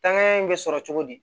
Tangaɲɛ in bɛ sɔrɔ cogo di